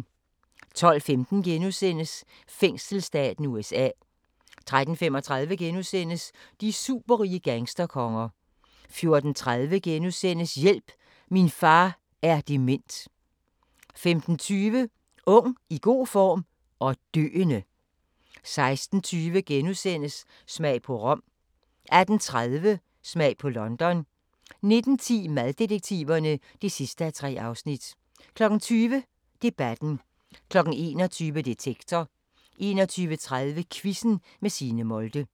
12:15: Fængselsstaten USA * 13:35: De superrige gangsterkonger * 14:30: Hjælp – min far er dement! * 15:20: Ung, i god form – og døende! 16:20: Smag på Rom * 18:30: Smag på London 19:10: Maddetektiverne (3:3) 20:00: Debatten 21:00: Detektor 21:30: Quizzen med Signe Molde